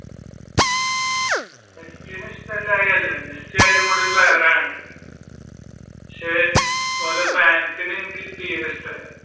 മെസ്സിനെ ഇഷ്ടമിലായികയല്ല മെസ്സി അടിപൊളി player ആണ് പക്ഷെ ഓരുടെ ഫാൻസിനെ എനിക്ക് തീരെ ഇഷ്ടമല്ല.